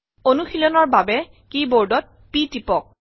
অনুশীলনৰ বাবে কী বোৰ্ডত p টিপক